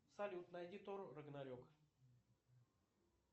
салют найди тор рагнарек